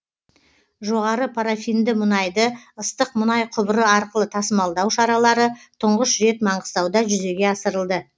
жоғары парафинді мұнайды ыстық мұнай құбыры арқылы тасымалдау шаралары тұңғыш рет маңғыстауда жүзеге асырылды